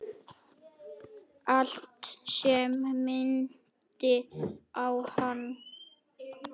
Allt sem minnti á hana.